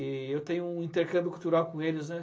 E eu tenho um intercâmbio cultural com eles, né.